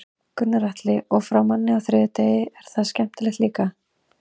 Gunnar Atli: Og fá nammi á þriðjudegi, er það skemmtilegt líka?